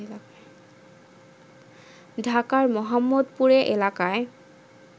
ঢাকার মোহাম্মদপুরে এলাকায়